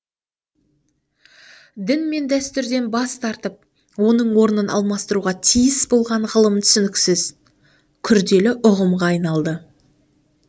дін мен дәстүрден бас тартып оның орнын алмастыруға тиіс болған ғылым түсініксіз күрделі ұғымға айналды